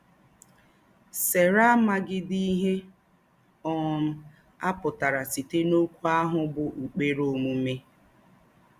Sera àmàghídí íhè um á pụ̀tàrà sītè n’òkwú áhụ̀ bụ́ ‘ụ́kpèrè ōmùmè